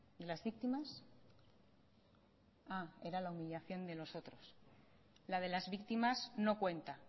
de las víctimas ah era la humillación de los otros la de las víctimas no cuenta